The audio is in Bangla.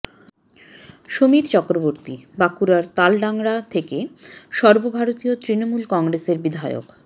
সমীর চক্রবর্তী বাঁকুড়ার তালড্যাংরা থেকে সর্বভারতীয় তৃণমূল কংগ্রেসের বিধায়ক